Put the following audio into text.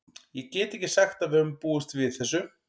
Ég get ekki sagt að við höfum búist við þessu.